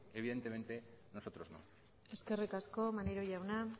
evidentemente nosotros no eskerrik asko maneiro jauna